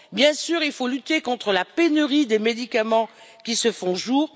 Bien sûr, il faut lutter contre la pénurie des médicaments qui se fait jour.